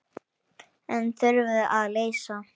En þurfum að leysa.